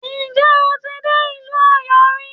Ǹjẹ́ o ti dé ìlú Ọ̀yọ́ rí?